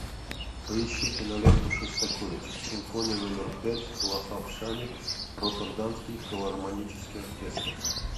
поищи киноленту шостаковича симфония номер пять лахав шани роттердамский филармонический оркестр